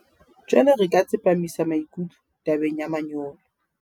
Jwale re ka tsepamisa maikutlo tabeng ya manyolo.